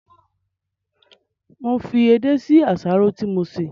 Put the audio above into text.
Mo fi edé sí àsáró tí mo sè